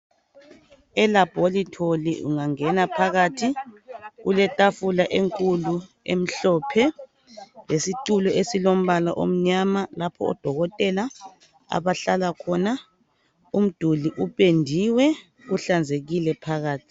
Elabholitholi ungangena phakathi kuletafula enkulu emhlophe, lesitulo esilombala omnyama lapha odokotela abahlala khona. Umduli upendiwe, kuhlanzekile phakathi.